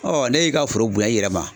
ne y'i ka foro bonya i yɛrɛ ma